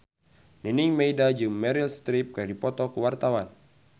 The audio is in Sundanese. Nining Meida jeung Meryl Streep keur dipoto ku wartawan